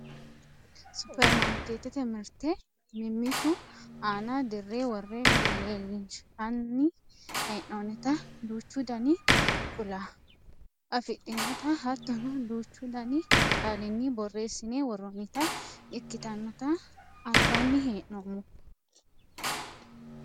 supperimarkeettete mirte mimmitu aana dirre worre leellinshanni hee'noonnita duuchu dani kuula afidhinota hattono duuchu dani qaalinni borreessine worroonnita ikitannota anfanni hee'noommo